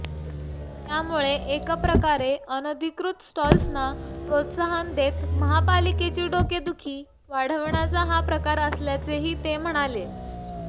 त्यामुळे एकप्रकारे अनधिकृत स्टॉल्सना प्रोत्साहन देत महापालिकेची डोकेदुखी वाढवण्याचा हा प्रकार असल्याचेही ते म्हणाले